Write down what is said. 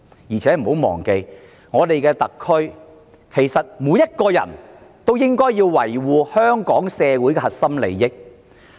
再者，大家不要忘記，特區內每個人其實也應維護香港社會的核心利益。